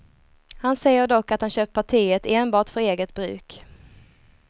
Han säger dock att han köpt partiet enbart för eget bruk.